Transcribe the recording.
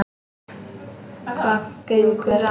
Hvað gengur að?